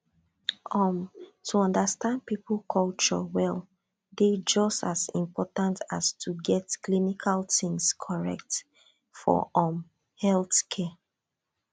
um to understand people culture well dey just as important as to get clinical things correct for um healthcare